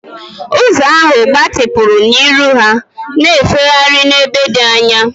Ụzọ ahụ gbatịpụrụ n'ihu ha, na-efegharị n'ebe dị anya.